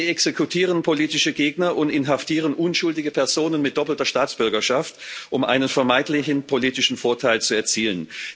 Sie exekutieren politische Gegner und inhaftieren unschuldige Personen mit doppelter Staatsbürgerschaft, um einen vermeintlichen politischen Vorteil zu erzielen.